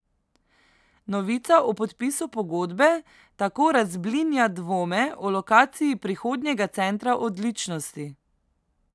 Novica o podpisu pogodbe tako razblinja dvome o lokaciji prihodnjega centra odličnosti.